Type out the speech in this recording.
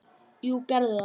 Jú, gerðu það!